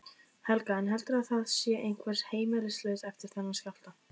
Helga: Heldurðu að það sé einhver heimilislaus eftir þennan skjálfta?